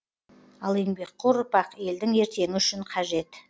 ал еңбекқор ұрпақ елдің ертеңі үшін қажет